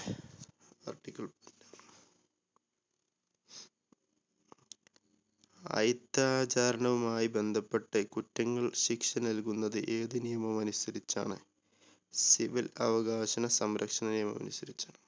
അയിത്താചാരണമായി ബന്ധപ്പെട്ട് കുറ്റങ്ങൾ ശിക്ഷ നൽകുന്നത് ഏത് നിയമമനുസരിച്ചാണ്? civil അവകാശണ സംരക്ഷണ നിയമമനുസരിച്ചാണ്.